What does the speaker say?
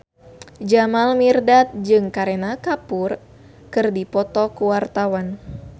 Jamal Mirdad jeung Kareena Kapoor keur dipoto ku wartawan